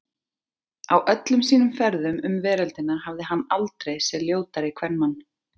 Á öllum sínum ferðum um veröldina hafði hann aldrei séð ljótari kvenmann.